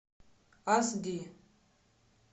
ас ди